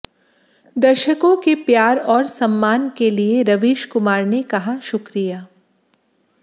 दर्शकों के प्यार और सम्मान के लिए रवीश कुमार ने कहा शुक्रिया